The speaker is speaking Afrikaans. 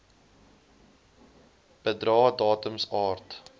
bedrae datums aard